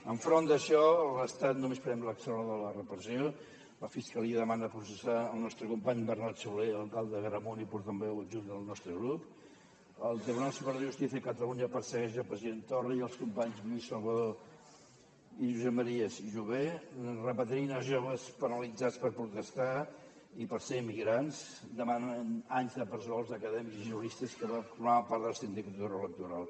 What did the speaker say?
enfront d’això l’estat només prem l’accelerador de la repressió la fiscalia demana processar el nostre company bernat solé alcalde d’agramunt i portaveu adjunt del nostre grup el tribunal superior de justícia de catalunya persegueix el president torra i els companys lluís salvadó i josep maria jové repatrien els joves penalitzats per protestar i per ser immigrants demanen anys de presó als acadèmics i juristes que formaven part de la sindicatura electoral